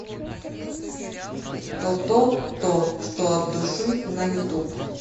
тото то что от души на ютуб